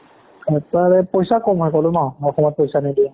এটাৰে পইচা কম হয় ক'লো ন অসমত পইচা নিদিয়ে